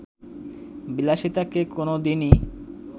বিলাসিতাকে কোন দিনই